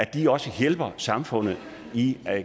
de også hjælper samfundet i